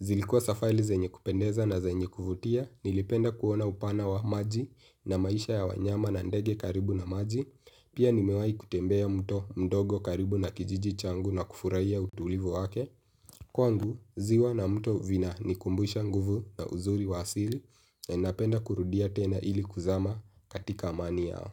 zilikuwa safaili zenye kupendeza na zenye kuvutia, nilipenda kuona upana wa maji na maisha ya wanyama na ndege karibu na maji, pia nimewai kutembea mto mdogo karibu na kijiji changu na kufurai ya utulivu wake, kwangu ziwa na mto vina nikumbusha nguvu na uzuri wasili, na napenda kurudia tena ili kuzama katika amani yao.